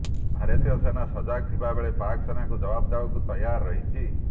ଭାରତୀୟ ସେନା ସଜାଗ ଥିବା ବେଳେ ପାକ୍ ସେନାଙ୍କୁ ଜବାବ୍ ଦେବାକୁ ତୈୟାର ରହିଛି